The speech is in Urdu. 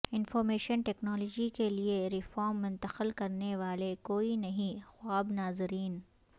انفارمیشن ٹیکنالوجی کے لئے ریفارم منتقل کرنے والے کوئی نہیں خواب ناظرین